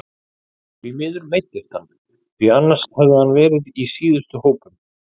Því miður meiddist hann því annars hefði hann verið í síðustu hópum.